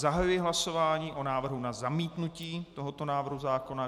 Zahajuji hlasování o návrhu na zamítnutí tohoto návrhu zákona.